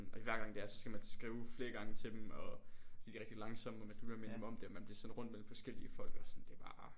Og det er hver gang det er så skal man sådan skrive flere gange til dem og de er rigtig langsome og man skal blive ved med at minde dem om det og man bliver sendt rundt mellem forskellige folk og det er bare